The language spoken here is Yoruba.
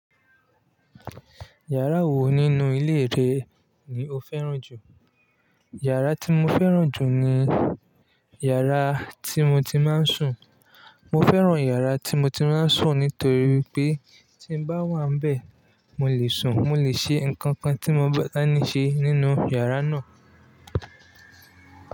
Yàrá wo nínú ilé rẹ ni o fẹ́ràn jù? Yàrá tí mo fẹ́ràn jù ni yàrá tí mo ti máa ń sùn. Mo fẹ́ràn yàrá tí mo ti máa ń sùn nítorí pé tí n bá wà nbe, mo lè sùn, mo lè ṣe nǹkan kan tí mo bá ní ṣe nínú yàrá náà.